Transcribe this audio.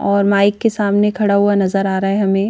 और माइक के सामने खड़ा हुआ नजर आ रहा है हमें--